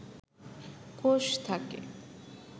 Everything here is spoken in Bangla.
কোষ থাকে